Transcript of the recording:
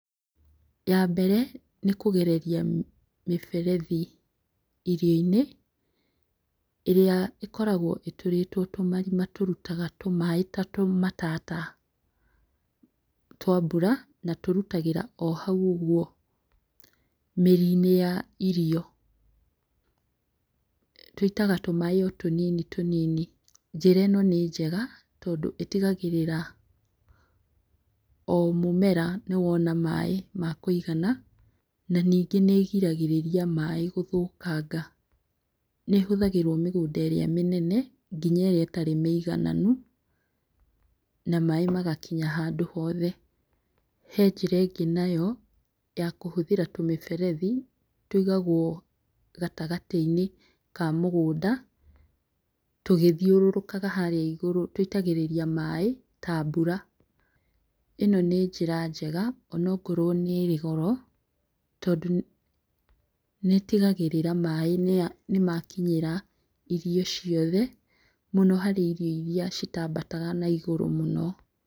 Ya mbere nĩ kũgereria mĩberethi irio-inĩ, ĩrĩa ĩkoragwo ĩtũrĩtwo tũmarima tũrutaga tũmaaĩ ta tũmatata twa mbura na tũrutagĩra o hau ũguo mĩri-inĩ ya irio tũitaga tũmaaĩ o tũnini tũnini, njĩra ĩno nĩ njega tondũ ĩtigagĩrĩra o mũmera nĩwona maaĩ ma kũigana na ningĩ nĩgiragĩrĩria maaĩ gũthũkanga. Nĩhũthagĩrwo mĩgũnda ĩrĩa mĩnene nginya ĩrĩa ĩtarĩ mĩigananu na maaĩ magakinya handũ hothe. He njĩra ĩngĩ nayo ya kũhũthĩra tũmĩberethi tũigagwo gatagatĩ-inĩ ka mũgũnda tũgĩthiũrũrũkaga harĩa igũrũ tũitagĩrĩria maaĩ ta mbura ĩno nĩ njĩra njega onakorwo nĩrĩ goro tondũ nĩtigagĩrĩra maaĩ nĩmakinyĩra irio ciothe, mũno harĩ irio iria itambataga na igũrũ mũno.